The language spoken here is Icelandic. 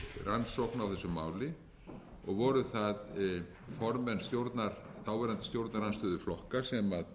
rannsókn á þessu máli og voru það formenn þáverandi stjórnarandstöðuflokka sem